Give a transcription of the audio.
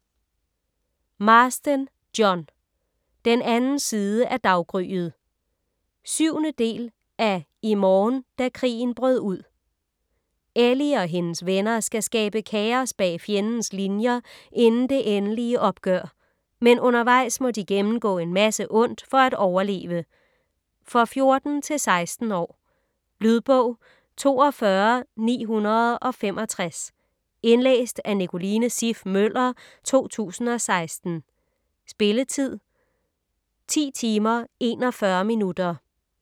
Marsden, John: Den anden side af daggryet 7. del af I morgen da krigen brød ud. Ellie og hendes venner skal skabe kaos bag fjendens linier inden det endelige opgør. Men undervejs må de gennemgå en masse ondt for at overleve. For 14-16 år. Lydbog 42965 Indlæst af Nicoline Siff Møller, 2016. Spilletid: 10 timer, 41 minutter.